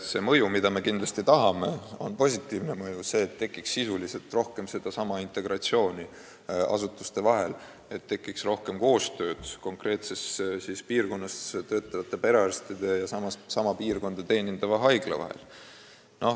See, mida me kindlasti tahame, on positiivne mõju: et tekiks sisuliselt rohkem integratsiooni asutuste vahel, et tekiks rohkem koostööd konkreetses piirkonnas töötavate perearstide ja kohaliku haigla vahel.